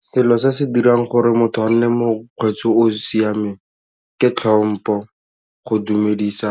Se se se dirang gore motho a nne mokgweetsi yo o siameng ke tlhompo, go dumedisa